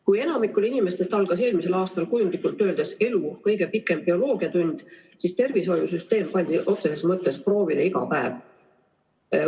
Kui enamikul inimestest algas eelmisel aastal kujundlikult öeldes elu kõige pikem bioloogiatund, siis tervishoiusüsteemi on sõna otseses mõttes proovile pandud iga päev.